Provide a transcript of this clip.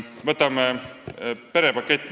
Võtame n-ö perepaketi.